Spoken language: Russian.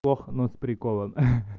плохо но с приколом ха-ха